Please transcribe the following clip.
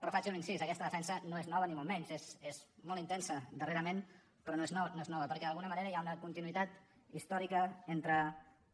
però faig un incís aquesta defensa no és nova ni molt menys és molt intensa darrerament però no és nova perquè d’alguna manera hi ha una continuïtat històrica entre